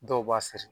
Dɔw b'a siri